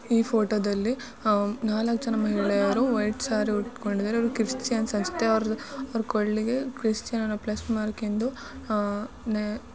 ಈ ಫೋಟೋ ದಲಿ ನಾಲ್ಕು ಮಹಿಳೆಯರು ಇದ್ದಾರೆ ವೈಟ್ ಸೀರೆ ಹಾಕಿದಾರೆ ಅವರ ಕ್ರಿಸ್ಟನ್ ಅನಿಸುತೆ ಅವ್ರ ಕೊರಳಿಗೆ ಕ್ರೈಸ್ತನ